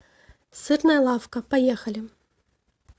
сырная лавка поехали